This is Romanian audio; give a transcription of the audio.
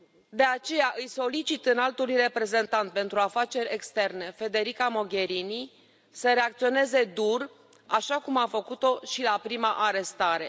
De aceea îi solicit Înaltei Reprezentante pentru Afaceri Externe, Federica Mogherini, să reacționeze dur, așa cum a făcut o și la prima arestare.